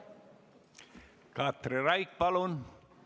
Katri Raik, palun!